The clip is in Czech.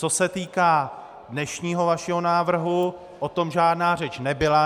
Co se týká dnešního vašeho návrhu, o tom žádná řeč nebyla.